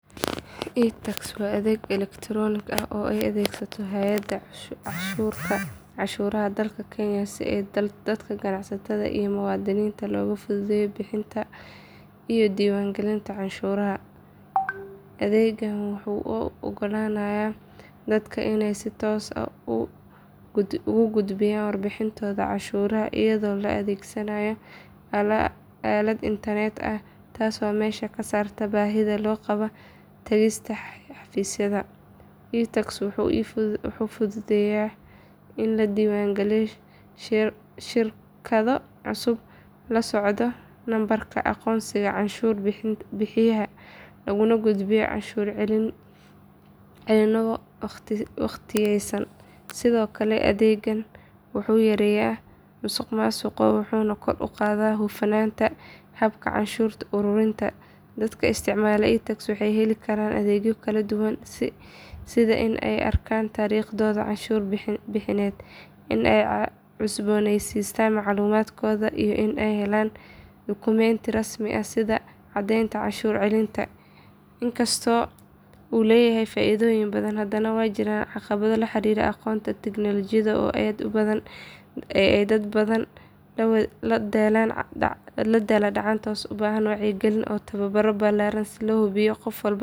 iTax waa adeeg elektaroonig ah oo ay adeegsato hay’adda canshuuraha dalka Kenya si dadka ganacsatada iyo muwaadiniinta looga fududeeyo bixinta iyo diiwaangelinta canshuuraha. Adeeggan wuxuu u oggolaanayaa dadka inay si toos ah ugu gudbiyaan warbixintooda canshuuraha iyadoo la adeegsanaayo aalad internet ah taasoo meesha ka saarta baahida loo qabo tagista xafiisyada. iTax wuxuu fududeeyaa in la diiwaangeliyo shirkado cusub, la codsado nambarka aqoonsiga canshuur bixiyaha, laguna gudbiyo canshuur celinno waqtiyeysan. Sidoo kale, adeeggan wuxuu yareeyaa musuqmaasuqa wuxuuna kor u qaadaa hufnaanta habka canshuur ururinta. Dadka isticmaala iTax waxay heli karaan adeegyo kala duwan sida in ay arkaan taariikhdooda canshuur bixineed, in ay cusboonaysiiyaan macluumaadkooda iyo in ay helaan dukumenti rasmi ah sida caddeynta canshuur celinta. Inkastoo uu leeyahay faa’iidooyin badan, haddana waxaa jira caqabado la xiriira aqoonta tiknoolajiyadda oo ay dad badan la daalaa dhacaan taasoo u baahan wacyigelin iyo tababaro ballaaran si loo hubiyo in qof walba.